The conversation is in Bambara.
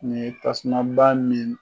Ni ye tasuma ba min